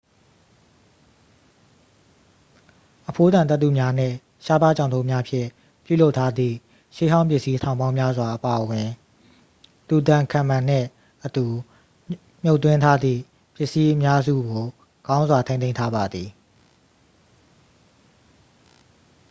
အဖိုးတန်သတ္ထုများနှင့် ရှားပါးကျောက်တုံးများဖြင့် ပြုလုပ်ထားသည့် ရှေးဟောင်းပစ္စည်းထောင်ပေါင်းများစွာ အပါအဝင် tutankhamun နှင့်အတူ မြှုပ်သွင်းထားသည့် ပစ္စည်းအများစုကို ကောင်းစွာ ထိန်းသိမ်းထားပါသည်